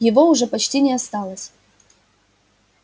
его уже почти не осталось